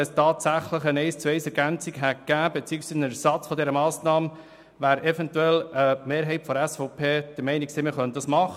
Wäre tatsächlich eine Eins-zu-eins-Ergänzung beziehungsweise eine Ersatzmassnahme möglich gewesen, wäre eventuell die Mehrheit der SVP der Meinung gewesen, man könne das machen.